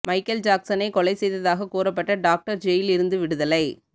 Michael ஜாக்சனை கொலை செய்ததாக கூறப்பட்ட டாக்டர் ஜெயில் இருந்து விடுதலை